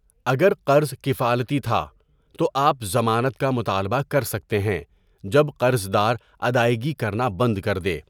اگر قرض کفالتی تھا، تو آپ ضمانت کا مطالبہ کر سکتے ہیں جب قرضدار ادائیگی کرنا بند کر دے۔